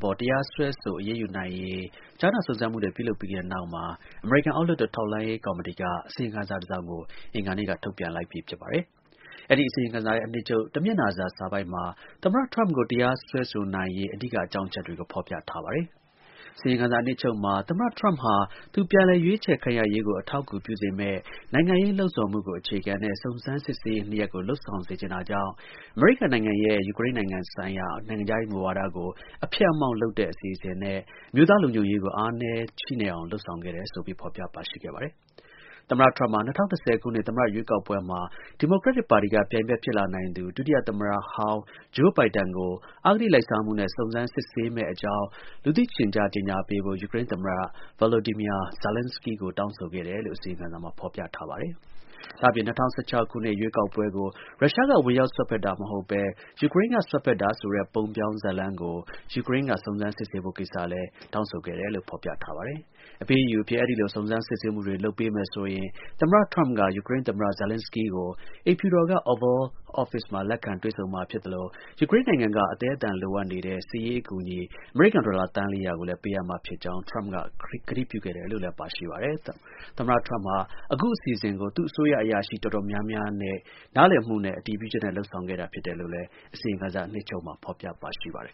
ပေါ် တရားစွဲဆို အရေးယူနိုင်ရေး ကြားနာစစ်ဆေးမှုတွေ ပြုလုပ်ပြီးတဲ့နောက် အမေရိကန် အောက်လွှတ်တော် ထောက်လှမ်းရေးကော်မတီက အစီရင်ခံစာတစ်စောင် အင်္ဂါနေ့က ထုတ်ပြန်လိုက်ပြီဖြစ်ပါတယ်။ အဲဒီ အစီရင်ခံစာရဲ့ တစ်မျက်နှာစာအနှစ်ချုပ်မှာ သမ္မတထရမ့်ပ်ကို တရားစွဲဆိုနိုင်ရေး အဓိက အကြောင်းအချက်တွေကို ဖော်ပြထားပါတယ်။ အစီရင်ခံစာအနှစ်ချုပ်မှာ သမ္မတထရမ့်ပ်ဟာ သူ ပြန်လည် ရွေးချယ်ခံရရေးကို အထောက်အကူပြုစေမယ့် နိုင်ငံရေးပယောဂ အခြေခံတဲ့ စုံစမ်းစစ်ဆေးရေးနှစ်ရပ်ကို လုပ်ဆောင်စေချင်တာကြောင့် အမေရိကန်နိုင်ငံရဲ့ ယူကရိန်းဆိုင်ရာ နိုင်ငံခြားရေးမူဝါဒကို အဖျက်အမှောင့်လုပ်တဲ့ အစီအစဉ်နဲ့ အမျိုးသားလုံခြုံရေးကို အားနည်းချိနဲ့ အောင် လုပ်ဆောင်ခဲ့တယ်ဆိုပြီး ဖော်ပြထားပါတယ်။ အစီရင်ခံစာမှာ သမ္မတထရမ့်ပ်ဟာ ၂၀၂၀ ပြည့်နှစ် သမ္မတရွေးကောက်ပွဲမှာ ဒီမိုကရက်ပါတီက ပြိုင်ဖက်ဖြစ်လာနိုင်သူ ဒုတိယသမ္မတဟောင်း Joe Biden ကို အဂတိလိုက်စားမှုနဲ့ စုံစမ်း စစ်ဆေးမယ့်ဖြစ်ကြောင်း လူသိရှင်ကြား ကြေညာပေးဖို့ ယူကရိန်းသမ္မတ Volodymya Zelenskiy ကို တောင်းဆိုခဲ့တယ်လို့ ဖော်ပြထားပါတယ်။ ဒါ့အပြင် ၂၀၁၆ ခုနှစ် ရွေးကောက်ပွဲကို ရုရှားက ဝင်ရောက်စွက်ဖက်တာမဟုတ်ဘဲ ယူကရိန်းက စွက်ဖက်တာဆိုတဲ့ ပုံပြောင်းဇာတ်လမ်းကို ယူကရိန်းက စုံစမ်းစစ်ဆေးပေးဖို့ကိစ္စနဲ့ ပတ်သက်လို့ လည်း အစီရင်ခံစာမှာ ဖော်ပြထားပါတယ်။ အပေးအယူအဖြစ် အဲဒီလို စုံစမ်း စစ်ဆေးမှုတွေ လုပ်ပေးမယ်ဆိုရင် သမ္မတ ထရမ့်ပ်က ယူကရိန်းသမ္မတ Zelenskiy ကို အိမ်ဖြူတော် Oval Office မှာ လက်ခံတွေ့ဆုံမှာဖြစ်သလို ယူကရိန်းနိုင်ငံက အသည်းအသန်လိုအပ်နေတဲ့ စစ်ရေးအကူအညီ အမေရိကန် ဒေါ်လာ သန်း ၄၀၀ ကို ပေးအပ်မှာဖြစ်ကြောင်း ထရမ့်ပ်က ကတိပြုခဲ့တယ်လို့လည်း ပါရှိပါတယ်။ သမ္မတဟာ အခုအစီအစဉ်ကို သူ့အစိုးရအရာရှိ တော်တော်များများရဲ့ နားလည် အတည်ပြု ချက်နဲ့ လုပ်ဆောင်ခဲ့တာဖြစ်တယ်လို့လည်း အစီရင်ခံစာ အနှစ်ချုပ်မှာ ဖော်ပြပါရှိပါတယ်